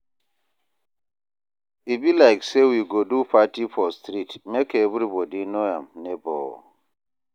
E be like sey we go do party for street make everybodi know im nebor.